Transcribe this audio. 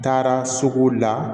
N taara sugu la